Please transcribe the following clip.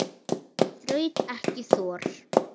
Þraut ekki þor.